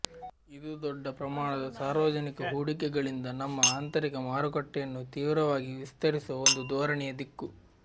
ಇದು ದೊಡ್ಡ ಪ್ರಮಾಣದ ಸಾರ್ವಜನಿಕ ಹೂಡಿಕೆಗಳಿಂದ ನಮ್ಮ ಆಂತರಿಕ ಮಾರುಕಟ್ಟೆಯನ್ನು ತೀವ್ರವಾಗಿ ವಿಸ್ತರಿಸುವ ಒಂದು ಧೋರಣೆಯ ದಿಕ್ಕು